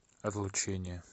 отлучение